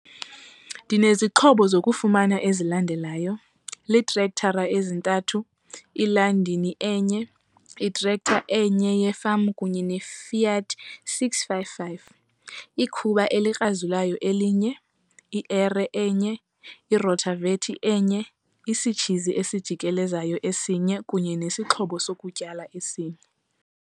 Ndinezixhobo zokufama ezilandelayo- Iitrektara ezintathu, iLandini enye, itrack enye yefama kunye neFiat 6555, ikhuba elikrazulayo elinye, ierhe enye, irotavetha enye, isitshizi esijikelezayo esinye kunye nesixhobo sokutyala esinye.